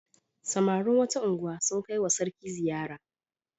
Samarin wata unguwa sun kai wa sarki ziyara.